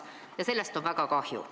Ja sellest on väga kahju.